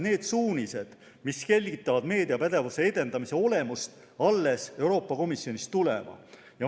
Need suunised, mis selgitavad meediapädevuse edendamise olemust, peavad Euroopa Komisjonist alles tulema.